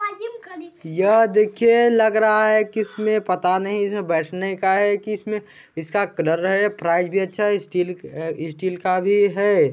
यह देखिए लग रहा है की इसमें पता नही है बैठने का है कि इसमें की इसका कलर है प्राइस भी अच्छा है स्टील का भी है।